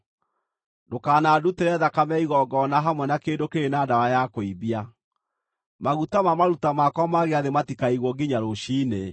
“Ndũkanandutĩre thakame ya igongona hamwe na kĩndũ kĩrĩ na ndawa ya kũimbia. “Maguta ma maruta makwa ma gĩathĩ matikaigwo nginya rũciinĩ.